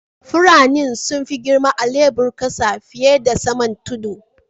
Furannin sun fi girma a'lebur kasa fiyar da saman tudu.